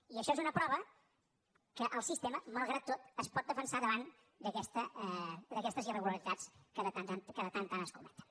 i això és una prova que el sistema malgrat tot es pot defensar davant d’aquestes irregularitats que de tant en tant es cometen